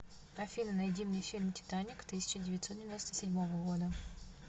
афина найди мне фильм титаник тысяча девятсот девяносто седьмого года